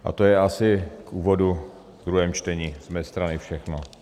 A to je asi v úvodu v druhém čtení z mé strany všechno.